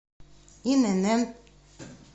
инн